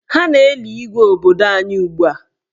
Ha na-eli Igwe obodo anyị ugbua.